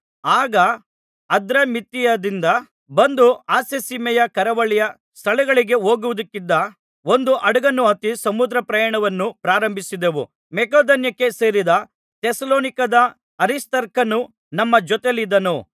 ಆಗ ಅದ್ರಮಿತ್ತಿಯದಿಂದ ಬಂದು ಆಸ್ಯಸೀಮೆಯ ಕರಾವಳಿಯ ಸ್ಥಳಗಳಿಗೆ ಹೋಗುವುದಕ್ಕಿದ್ದ ಒಂದು ಹಡಗನ್ನು ಹತ್ತಿ ಸಮುದ್ರಪ್ರಯಾಣವನ್ನು ಪ್ರಾರಂಭಿಸಿದೆವು ಮಕೆದೋನ್ಯಕ್ಕೆ ಸೇರಿದ ಥೆಸಲೋನಿಕದ ಅರಿಸ್ತಾರ್ಕನು ನಮ್ಮ ಜೊತೆಯಲ್ಲಿದ್ದನು